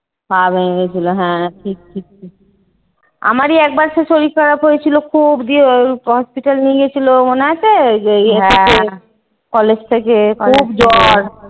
পা ভেঙে গেছিলো হ্যাঁ ঠিক ঠিক ঠিক আমারই একবার সেই শরীর খারাপ হয়েছিল খুব গিয়ে hospital নিয়ে গেছিলো? মনে আছে? college থেকে খুব জ্বর।